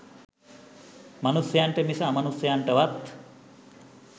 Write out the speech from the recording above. මනුෂයන්ට මිස අමනුෂයන්ටවත්